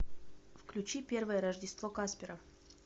включи первое рождество каспера